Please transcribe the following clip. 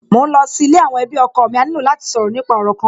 Mò ń lọ sí ilé àwọn ẹbí ọkọ mi, a ní lò láti sọ̀rọ̀ nípa òrò kan